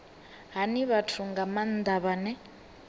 hani vhathu nga maanda vhane